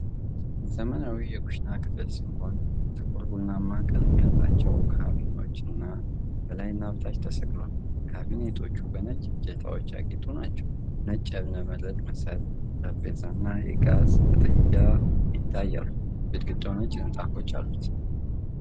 ዘመናዊ የኩሽና ክፍል ሲሆን፤ ጥቁር ቡናማ ቀለም ያላቸው ካቢኔቶች በላይና ታች ተሰቅለዋል። ካቢኔቶቹ በነጭ እጀታዎች ያጌጡ ናቸው። ነጭ የእብነበረድ መሰል ጠረጴዛና የጋዝ ምድጃ ይታያሉ፤ ግድግዳውም ነጭ ንጣፎች አሉት።